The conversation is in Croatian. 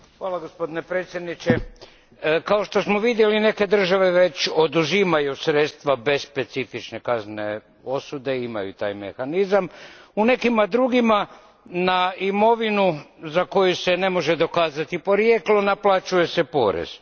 Gospodine predsjedniče, kao što smo vidjeli neke države već oduzimaju sredstva bez specifične kaznene osude, imaju taj mehanizam, u nekim drugima na imovinu za koju se ne može dokazati porijeklo naplaćuje se porez.